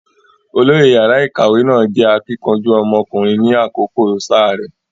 Olóyè yàrá ìkàwé náà jẹ́ akíkanjú ọmọkùnrin ni àkókò sáà rẹ̀.